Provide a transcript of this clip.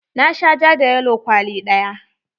Na sha ja da yalo kwali ɗaya.